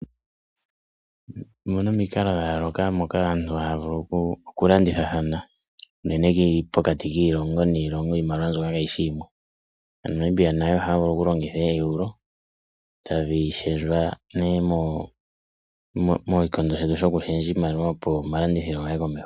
Omuna omikalo dha yoolokathana moka aantu haya vulu okulandithathana. Unene pokati kiilongo niilongo iimaliwa mbyoka kayishi yimwe. Aanamibia nayo ohaya vulu okulongitha okulongitha eEURO etadhi shendjwa ne moshikondo shetu sho ku shendja iimaliwa opo omalandithilo gaye komeho.